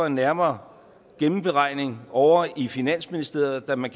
en nærmere gennemberegning ovre i finansministeriet da man